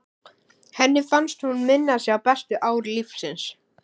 Henni fannst hún minna sig á bestu ár lífsins.